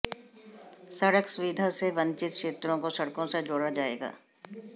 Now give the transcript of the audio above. सड़क सुविधा से वंचित क्षेत्रों को सड़कों से जोड़ा जाएगा